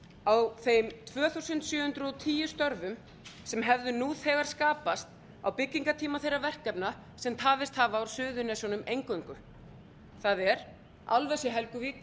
á þeim tvö þúsund sjö hundruð og tíu störfum sem hefðu nú þegar skapast á byggingartíma þeirra verkefna sem tafist hafa á suðurnesjunum eingöngu það er álvers í helguvík